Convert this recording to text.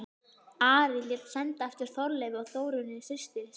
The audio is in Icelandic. Ari lét senda eftir Þorleifi og Þórunni systur sinni.